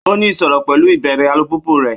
Ó ní ìṣòro pẹ̀lú ìbẹ̀rẹ̀ alùpùpù rẹ̀.